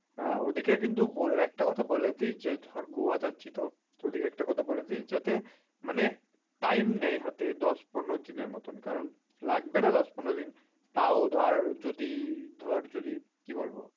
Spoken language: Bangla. ওইদিকে কিন্তু একটা কথা বলে দিস ধর গোয়া যাচ্ছি ওদিকে একটা কথা বলে দিস যাতে time নেয় হাতে দশ পনের দিনের মতন কারণ লাগবে না দশ পনেরো দিন তাও ধর যদি ধর কি বলবো